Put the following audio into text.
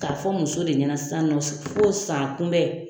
K'a fɔ muso de ɲana sisan nɔ fo o san kunbɛn